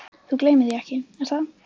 Þú gleymir því ekki, er það?